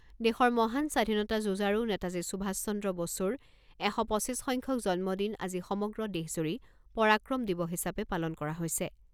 দেশৰ মহান স্বাধীনতা যুঁজাৰু নেতাজী সুভাষ চন্দ্ৰ বসুৰ এশ পঁচিছ সংখ্যক জন্মদিন আজি সমগ্ৰ দেশজুৰি পৰাক্ৰম দিৱস হিচাপে পালন কৰা হৈছে।